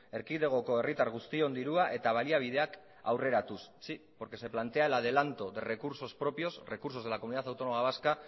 erkidegoko herritar guztion dirua eta baliabideak aurreratuz sí porque se plantea el adelanto de recursos propios recursos de la comunidad autónoma vasca